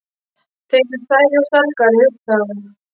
Þeir eru stærri og sterkari, hugsaði hún.